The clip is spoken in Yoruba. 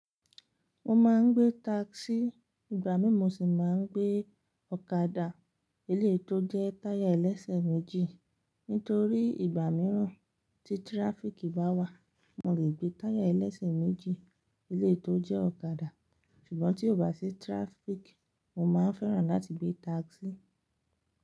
Mo máa ń gbé taxi, ìgbà mí mo sì máa ń gbé ọ̀kadà eléyi to jẹ́ táyà ẹlẹ́sẹ̀ méjì. Nítorí ìgbà mìíràn tí tiráfiki bá wà, mo lè gbé táyà ẹlẹ́sẹ̀ méjì eléyi to jẹ́ ọ̀kadà. Ṣùgbọ́n tí ò bá sí traffic, mo máa ń fẹ́ràn láti gbé taxi.